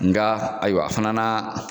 Nga ayiwa a fana n'a